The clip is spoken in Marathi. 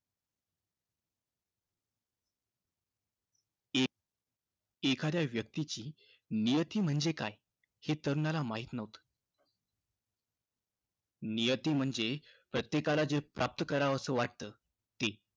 एखाद्या व्यक्तीची नियती म्हणजे काय? हे तरुणाला माहिती नव्हतं. नियती म्हणजे प्रत्येकाला जे प्राप्त करावंसं वाटतं ते.